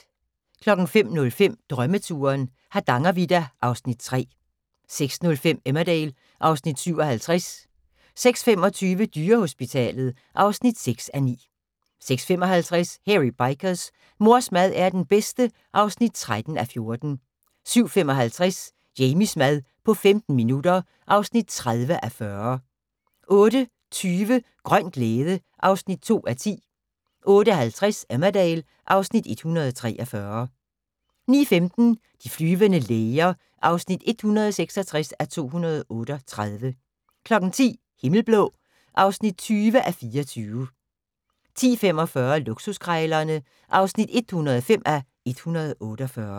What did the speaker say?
05:05: Drømmeturen - Hardangervidda (Afs. 3) 06:05: Emmerdale (Afs. 57) 06:25: Dyrehospitalet (6:9) 06:55: Hairy Bikers: Mors mad er den bedste (13:14) 07:55: Jamies mad på 15 minutter (30:40) 08:20: Grøn glæde (2:10) 08:50: Emmerdale (Afs. 143) 09:15: De flyvende læger (166:238) 10:00: Himmelblå (20:24) 10:45: Luksuskrejlerne (105:148)